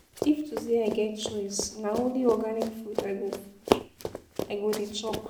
If to sey I get choice, na only organic food I go food I go dey chop.